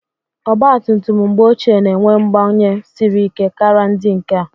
Ọgba tum tum mgbe ochie na-enwe mgbanye siri ike kara ndị nke a.